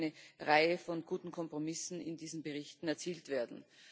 Es konnten eine Reihe von guten Kompromissen in diesen Berichten erzielt werden.